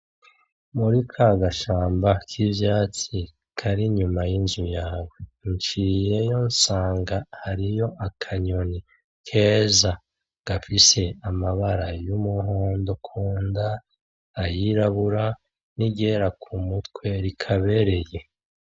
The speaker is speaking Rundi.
Muri ka gashamba k'ivyatsi kari inyuma y'inzu yawe nciyeyo nsanga hariyo akanyoni keza gafise amabara y'umuhondo kunda ay'irabura n'iryera kumutwe rikabereye.